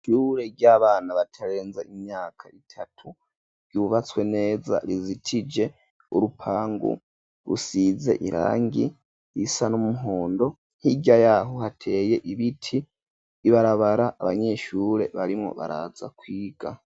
Ishure ry'abana batarenza imyaka itatu ryubatswe neza rizitije urupangu rusize irangi risa n'umuhondo hirya yaho hateye ibiti, ibarabara abanyeshure barimo baraza kwiga.